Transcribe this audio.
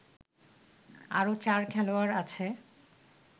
আরও ৪ খেলোয়াড় আছে